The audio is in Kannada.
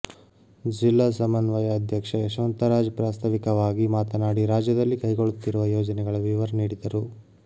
ಜಿಲ್ಲಾ ಸಮನ್ವಯ ಅಧ್ಯಕ್ಷ ಯಶವಂತರಾಜ್ ಪ್ರಾಸ್ತವಿಕವಾಗಿ ಮಾತನಾಡಿ ರಾಜ್ಯದಲ್ಲಿ ಕೈಗೊಳ್ಳುತ್ತಿರುವ ಯೋಜನೆಗಳ ವಿವರ ನೀಡಿದರು